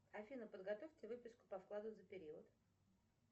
афина подготовьте выписку по вкладу за период